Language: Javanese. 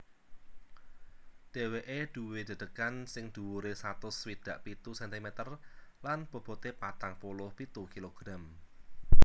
Dhèwèké duwé dedegan sing dhuwuré satus swidak pitu sentimeter lan bobote patang puluh pitu kilogram